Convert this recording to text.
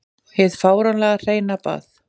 Hið fáránlega hreina bað.